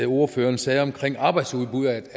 ordføreren sagde omkring arbejdsudbud